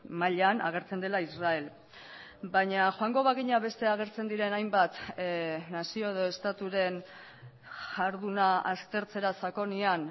mailan agertzen dela israel baina joango bagina beste agertzen diren hainbat nazio edo estaturen jarduna aztertzera sakonean